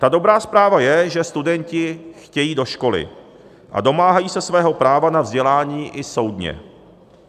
Ta dobrá zpráva je, že studenti chtějí do školy a domáhají se svého práva na vzdělání i soudně.